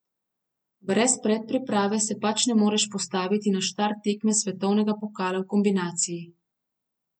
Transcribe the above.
Brez predpriprave se pač ne moreš postaviti na štart tekme svetovnega pokala v kombinaciji.